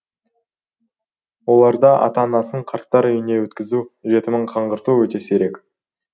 оларда ата анасын қарттар үйіне өткізу жетімін қаңғырту өте сирек